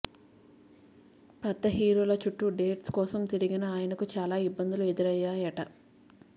పెద్ద హీరోల చుట్టూ డేట్స్ కోసం తిరిగిన ఆయనకు చాలా ఇబ్బందులు ఎదురయ్యాయట